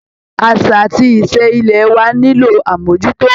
Àṣà àti ìṣe ilẹ̀ wá nílò àmójútó